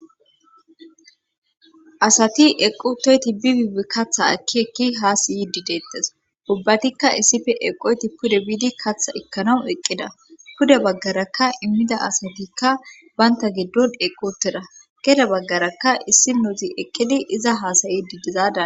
Asati eqotoyti bi bibi kaththa akki ekki haa siyidi deettes ubbatikka issife eqoyti pude biidi katha ekkanaw eqqida pude baggarakka immida asatikka baynta giddon eqotera gede baggarakka issi nouzi eqqidi iza haasayi didizada